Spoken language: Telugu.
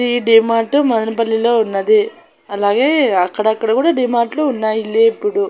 ఈ డిమార్ట్ మదనపల్లి లో ఉన్నది అలాగే అక్కడ అక్కడ కూడా డిమార్ట్ లు ఉన్నాయి ఎల్లేప్పుడు.